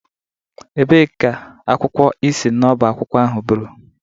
Ebee ka akwụkwọ ị si n'ọbá akwụkwọ ahụ buru?